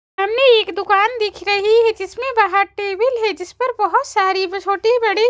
सामने एक दुकान दिख रही है जिसमें बाहर टेबिल है जिस पर बहुत सारी ब छोटी बड़ी --